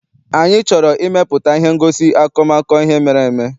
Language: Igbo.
Anyị chọrọ ịmepụta ihe ngosi akọmakọ ihe mere eme.